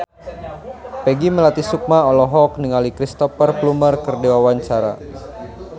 Peggy Melati Sukma olohok ningali Cristhoper Plumer keur diwawancara